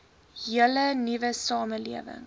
hele nuwe samelewing